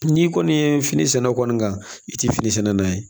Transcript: N'i kɔni ye fini sɛnɛ kɔni kan i tɛ fini sɛnɛ n'a ye